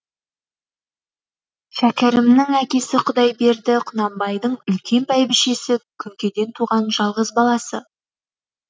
шәкерімнің әкесі құдайберді құнанбайдың үлкен бәйбішесі күңкеден туған жалғыз баласы